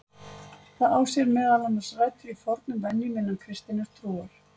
Það á sér meðal annars rætur í fornum venjum innan kristinnar trúar.